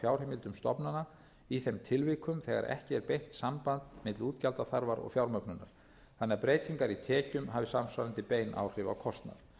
fjárheimildum stofnana í þeim tilvikum þegar ekki er beint samband milli útgjaldaþarfar og fjármögnunar þannig að breytingar í tekjum hafi samsvarandi bein áhrif á kostnað